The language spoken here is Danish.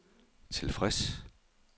tilfreds